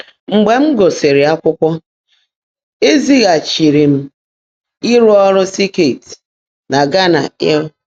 Mgbe m gụ́sí́rị́ ákwụ́kwọ́, é zị́gháchiírí m ị́rụ́ ọ́rụ́ sèkịt nà Ghánà. I'll